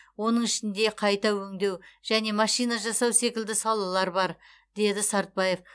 оның ішінде қайта өңдеу және машина жасау секілді салалар бар деді сартбаев